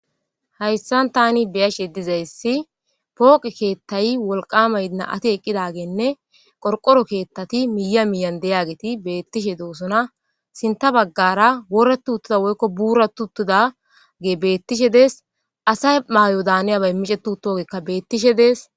hayssan tani beyashe dizayssi pooqe keettay wolqama yna ati eqqidageenne qorqoro keettati miya miyan deyageti beettishe doosona sinta baggara woratu uttida woykko buuratu uttuda gee beettishe dees asay maayo daaniyabay micetu toogekka beettishe dees